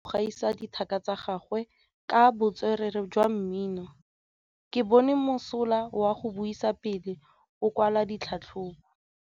Gaolebalwe o mosola go gaisa dithaka tsa gagwe ka botswerere jwa mmino. Ke bone mosola wa go buisa pele o kwala tlhatlhobô.